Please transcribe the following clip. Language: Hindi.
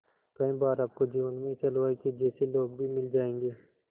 कई बार आपको जीवन में इस हलवाई के जैसे लोग भी मिल जाएंगे